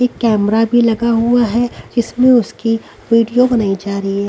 एक कैमरा भी लगा हुआ है इसमें उसकी वीडियो बनाई जा रही है।